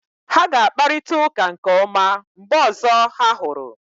Ha ga-akparịta ụka nke ọma mgbe ọzọ ha hụrụ